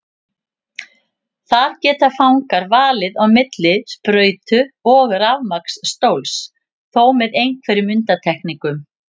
Þar geta fangar valið á milli sprautu og rafmagnsstóls, þó með einhverjum undantekningum.